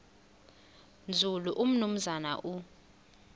nzulu umnumzana u